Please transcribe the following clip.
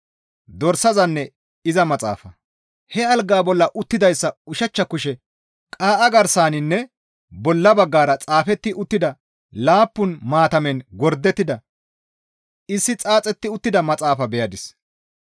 He algaa bolla uttidayssa ushachcha kushe qaa7a garsaninne bolla baggara xaafetti uttida laappun maatamen gordettida issi xaaxetti uttida maxaafa beyadis.